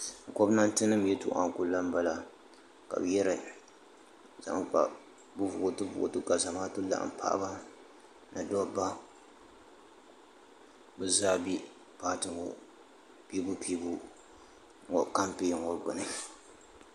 Gomnanti nim yetoɣa n kuli la bala, kabi yara zaŋ kpa vootibu vootibu. ka zamaatu laɣim paɣiba ni daba bɛ zaa bɛ piibupiibu kam pɛn ŋɔ gbuni